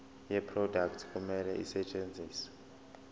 yeproduct kumele isetshenziswe